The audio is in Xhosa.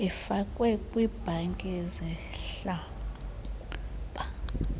ifakwe kwibhanki yezimihlaba